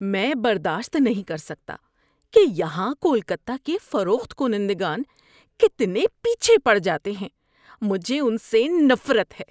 میں برداشت نہیں کر سکتا کہ یہاں کولکتہ کے فروخت کنندگان کتنے پیچھے پڑ جاتے ہیں۔ مجھے ان سے نفرت ہے۔